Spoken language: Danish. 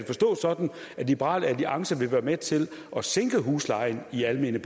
forstås sådan at liberal alliance vil være med til at sænke huslejen i de almene